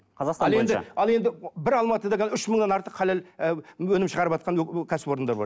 ал енді бір алматыда қазір үш мыңнан артық халал ы өнім шығарыватқан кәсіпорындар бар